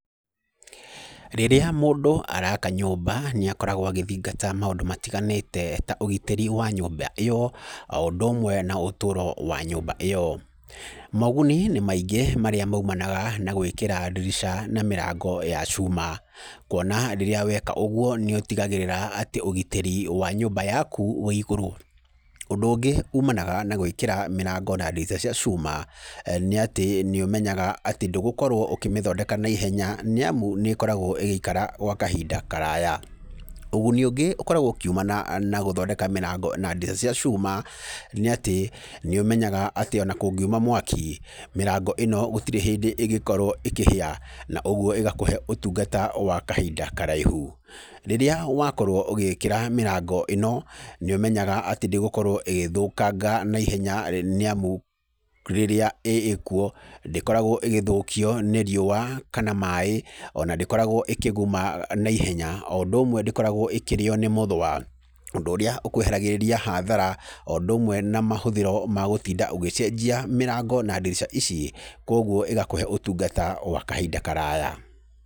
Rĩrĩa mũndũ araka nyũmba nĩ akoragwo agĩthingata maũndũ matiganĩte ta ũgitĩri wa nyũmba ĩyo, o ũndũ ũmwe na ũtũro wa nyũmba ĩo. Moguni nĩ maingĩ marĩa mumanaga na gwĩkĩra ndirica na mĩrango ya cuma, kuona rĩrĩa weka ũguo nĩ ũtigagĩrĩra atĩ ũgitĩri wa nyũmba yaku wĩ igũrũ. Ũndũ ũngĩ umanaga na gwĩkĩra mĩrango na ndirica cia cuma, nĩ atĩ nĩ ũmenyaga atĩ ndũgũkorwo ũkĩmĩthondeka naihenya, nĩ amu nĩ ĩkoragwo ĩgĩikara gwa kahinda karaya. Ũguni ũngĩ ũkoragwo ũkiumana na gũthondeka mĩrango na ndirica cia cuma nĩ atĩ nĩ ũmenyaga atĩ ona kũngiuma mwaki, mĩrango ĩno gũtirĩ hĩndĩ ĩngĩkorwo ĩkĩhĩa, na ũguo ĩgakũhe ũtungata wa kahinda karaihu. Rĩrĩa wakorwo ũgĩĩkira mĩrango ĩno nĩ ũmenyaga atĩ ndĩgũkorwo ĩgĩthũkanga na ihenya nĩ amũ rĩrĩa ĩkuo ndĩkoragwo ĩgĩthũkio nĩ riũa kana maĩ ona ndĩkoragwo ĩkĩguma naihenya, o ũndũ ũmwe ndĩkoragwo ĩkĩrĩo nĩ mũthũa, ũndũ ũrĩa ũkwehagĩrĩria hathara o ũndũ ũmwe na mahũthĩro ma gũtinda ũgĩcenjia mĩrango na ndirica ici, kuũguo igakũhe ũtungata wa kahinda karaya.